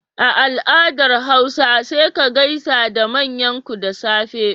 A al'adar hausa sai ka gaisa da manyanku da safe.